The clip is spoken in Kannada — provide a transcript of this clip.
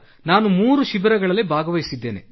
ನಾನು 3 ಶಿಬಿರಗಳಲ್ಲಿ ಭಾಗವಹಿಸಿದ್ದೇನೆ